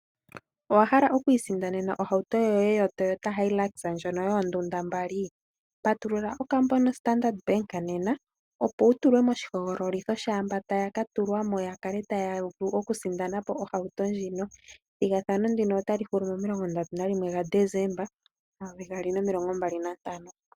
Owahala okwiisindanena ohauto yoye yoToyota Hilux ndjono yoondunda mbali patulula okambo nombanga yoStandard nena opo wutulwe moshihogololitho shaamba taya katulwamo yakale taya vulu okusindanapo ohauto ndjino. Ethigathano ndino otali hulu momasiku 31 gaDesemba 2025.